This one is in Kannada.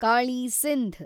ಕಾಳಿ , ಸಿಂಧ್